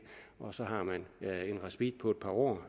og så har man en respit på et par år